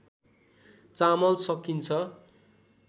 चामल सकिन्छ